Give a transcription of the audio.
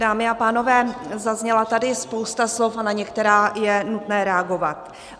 Dámy a pánové, zazněla tady spousta slov a na některá je nutné reagovat.